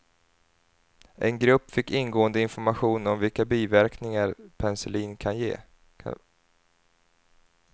En grupp fick ingående information om vilka biverkningar penicillin kan ge.